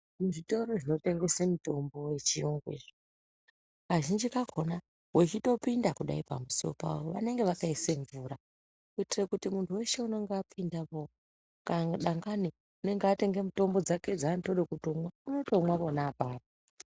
Muzvitoro zvinotengese mitombo yechiyungu iyi kazhinji kakona wechitopinda kudai pamusowo pawo vanenge vakasise mvura kuitira kuti muntu weshe unenge apindamo dangani unenge atenga mitombo dzake dzaanotode kutomwa umotomwe apapo.